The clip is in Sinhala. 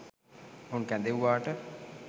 ඔවුන් කැදෙව්වාට